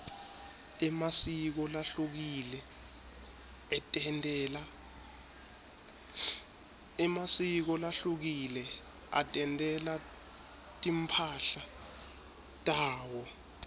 emasiko lahlukile atentela timphahla tawo